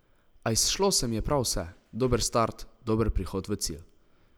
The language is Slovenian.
A izšlo se mi je prav vse, dober start, dober prihod v cilj.